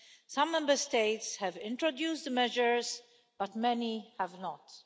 Some Member States have introduced the measures, but many have not.